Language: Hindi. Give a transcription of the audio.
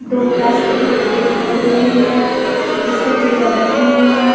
दो प्लास्टिक के डब्बे दिखाई दे रहे हैं जिस पे चिड़ियाॅं बैठी हुई है।